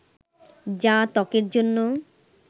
যা ত্বকের জন্য